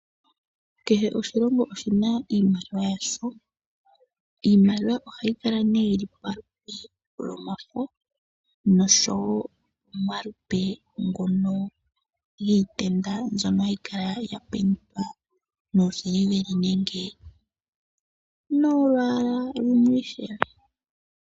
Kehe oshilongo oshina iimaliwa yasho. Iimaliwa ohayi kala yili pomaludhi gomafo noshowoo omalupe ngono giitenda ngono haga kala mbambekwa miisiliveli nenge molwaala lumwe ishewe.